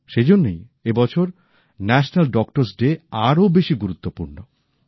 সেজন্যই এ বছর জাতীয় চিকিৎসক দিবস আরো বেশি গুরুত্বপূর্ণ